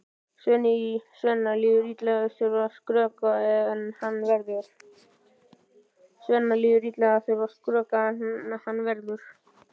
Svenna líður illa að þurfa að skrökva en hann verður!